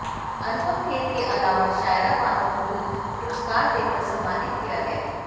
अनुपम खेर के अलावा शायरा बानो को भी पुरस्कार देकर सम्मानित किया गया